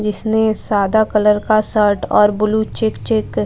जिसने साधा कलर का शर्ट और ब्लू चेक चेक --